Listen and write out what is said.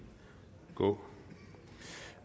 gå